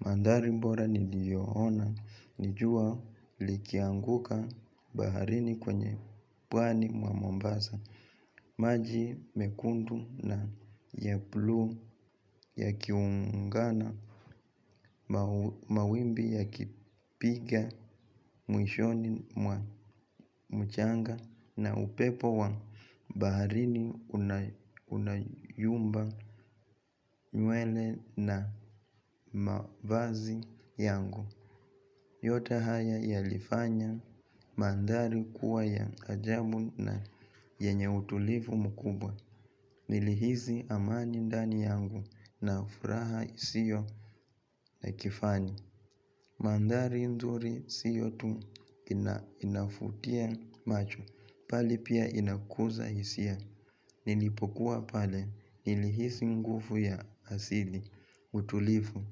Mandari mbora niliyoona nijua likianguka baharini kwenye pwani mwa mombasa. Maji mekundu na yaplu ya kiungana mawimbi ya kipiga mwishoni mwa mchanga na upepo wa baharini unayumba nywele na mavazi yangu. Yote haya ya lifanya mandari kuwa ya ajabu na yenye utulifu mkubwa. Nilihizi amani ndani yangu na ufraha isio na kifani. Mandari nzuri siyotu inafutia macho pali pia inakuza isia. Nilipokuwa pale nilihizi ngufu ya asili utulifu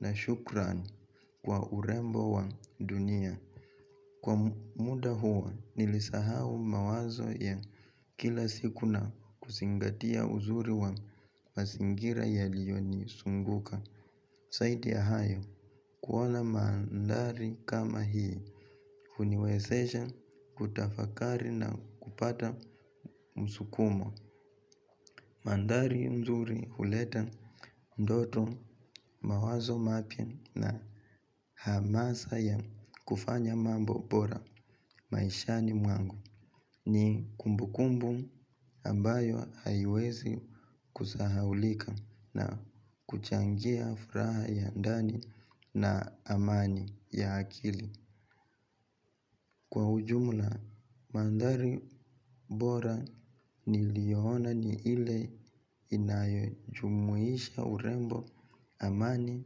na shukran. Kwa urembo wa dunia kwa muda huwa nilisahau mawazo ya kila siku na kusingatia uzuri wa masingira ya liyo ni sunguka. Saidia hayo kuwala mandari kama hii. Huniweseja kutafakari na kupata msukumo. Mandari mzuri huleta ndoto mawazo mapia na hamasa ya kufanya mambo bora maishani mwangu. Ni kumbu kumbu ambayo haiwezi kuzahaulika na kuchangia furaha ya ndani na amani ya akili. Kwa ujumla, maandari bora ni liyohona ni ile inayojumuisha urembo amani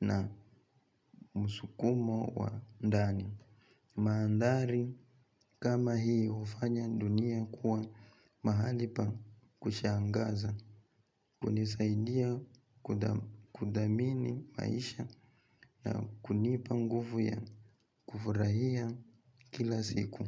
na msukumo wa ndani. Maandari kama hii ufanya dunia kuwa mahali pa kushangaza, kunisaidia kudamini maisha na kunipangufu ya kufurahia kila siku.